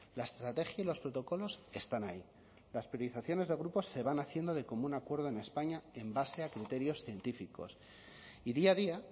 la estrategia y los protocolos están ahí las priorizaciones de grupos se van haciendo de común acuerdo en españa en base a criterios científicos y día a día